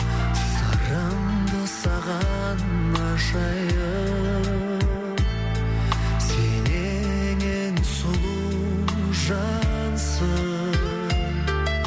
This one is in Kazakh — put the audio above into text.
сырымды саған ашайын сен ең ең сұлу жансың